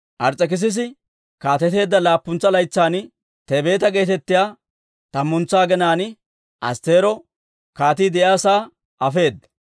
Ars's'ekissisi kaateteedda laappuntsa laytsan, Tebeeta geetettiyaa tammantsa aginaan Astteero kaatii de'iyaa sa'aa afeedda.